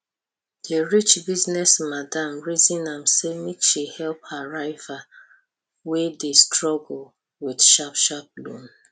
di rich business madam reason say make she help her rival wey dey struggle with sharp sharp loan